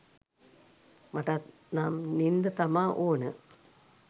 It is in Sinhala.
මටත් නම් නින්ද තමා ඕන